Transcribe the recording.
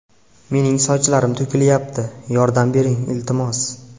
Mening sochlarim to‘kilyapti, yordam bering, iltimos!.